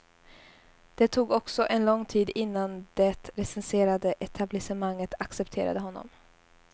Det tog också en lång tid innan det recenserande etablissemanget accepterade honom.